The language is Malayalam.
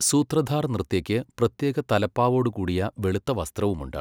സൂത്രധാർ നൃത്യയ്ക്ക് പ്രത്യേക തലപ്പാവോടുകൂടിയ വെളുത്ത വസ്ത്രവും ഉണ്ട്.